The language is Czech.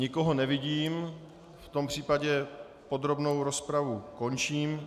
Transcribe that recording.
Nikoho nevidím, v tom případě podrobnou rozpravu končím.